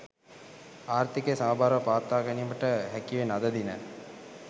ආර්ථිකය සමබරව පවත්වා ගැනීමට හැකිවෙන අද දින